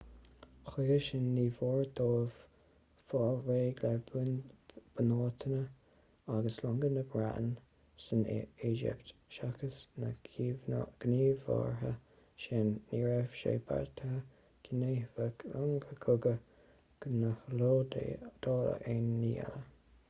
chuige sin níor mhór dóibh fáil réidh le bunáiteanna agus longa na breataine san éigipt seachas na gníomhartha sin ní raibh sé beartaithe go ndéanfadh longa cogaidh na hiodáile aon ní eile